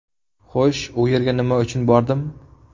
Ho‘sh, u yerga nima uchun bordim?